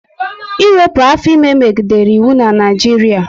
Ịwepụ afọ ime megidere iwu na Naijiria